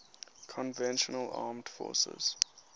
conventional armed forces